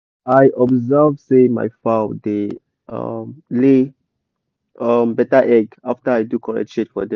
i observe say my fowl da um lay um better egg after i do correct shade for dem